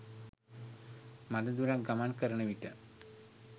මද දුරක් ගමන් කරන විට